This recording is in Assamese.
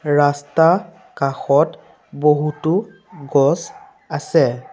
ৰাস্তা কাষত বহুতো গছ আছে।